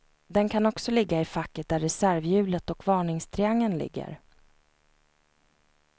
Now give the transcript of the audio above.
Den kan också ligga i facket där reservhjulet och varningstriangeln ligger.